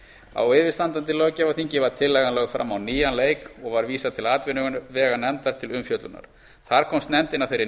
á yfirstandandi löggjafarþingi var tillagan lögð fram á nýjan leik og var vísað til atvinnuveganefndar til umfjöllunar þar komst nefndin að þeirri